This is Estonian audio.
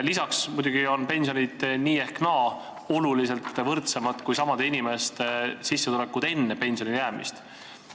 Lisaks muidugi on pensionid nii või naa oluliselt võrdsemad kui samade inimeste sissetulekud enne pensionile jäämist.